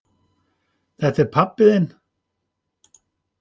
Þetta er pabbi þinn.